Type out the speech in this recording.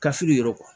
Kasi re